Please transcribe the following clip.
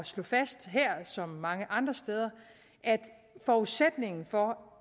slå fast her som så mange andre steder at forudsætningen for